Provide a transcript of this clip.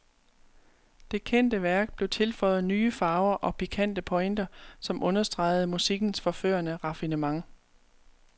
Det kendte værk blev tilføjet nye farver og pikante pointer, som understregede musikkens forførende raffinement.